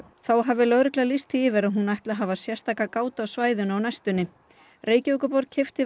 þá hafi lögreglan lýst því yfir að hún ætli að hafa sérstaka gát á svæðinu á næstunni Reykjavíkurborg keypti